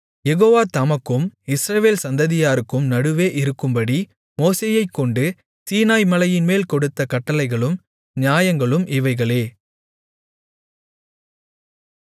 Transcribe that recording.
யெகோவா தமக்கும் இஸ்ரவேல் சந்ததியாருக்கும் நடுவே இருக்கும்படி மோசேயைக்கொண்டு சீனாய்மலையின்மேல் கொடுத்த கட்டளைகளும் நியாயங்களும் இவைகளே